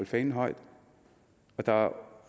fanen højt der er